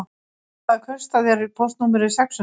Í hvaða kaupstað er póstnúmerið sex hundruð?